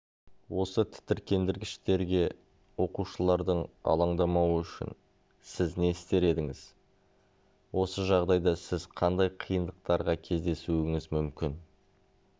осы тітіркендіргіштерге оқушылардың алаңдамауы үшін сіз не істер едіңіз осы жағдайда сіз қандай қиындықтарға кездесуіңіз мүмкін